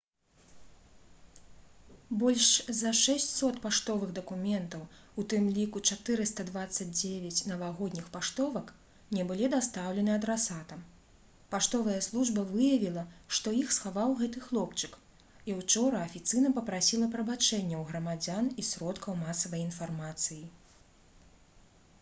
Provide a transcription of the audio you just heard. больш за 600 паштовых дакументаў у тым ліку 429 навагодніх паштовак не былі дастаўлены адрасатам паштовая служба выявіла што іх схаваў гэты хлопчык і ўчора афіцыйна папрасіла прабачэння ў грамадзян і сродкаў масавай інфармацыі